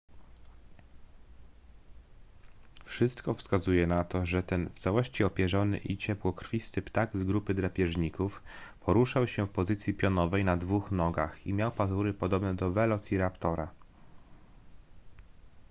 wszystko wskazuje na to że ten w całości opierzony i ciepłokrwisty ptak z grupy drapieżników poruszał się w pozycji pionowej na dwóch nogach i miał pazury podobne do welociraptora